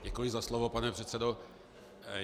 Děkuji za slovo, pane předsedo.